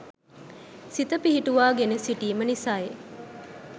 සිත පිහිටුවා ගෙන සිටීම නිසයි.